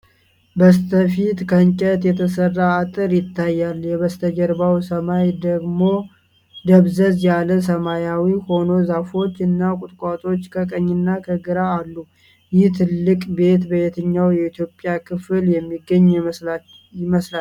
በስተፊት ከእንጨት የተሰራ አጥር ይታያል፤ የበስተጀርባው ሰማይ ደብዘዝ ያለ ሰማያዊ ሆኖ ዛፎች እና ቁጥቋጦዎች ከቀኝና ከግራ አሉ። ይህ ትልቅ ቤት በየትኛው የኢትዮጵያ ክፍል የሚገኝ ይመስላል?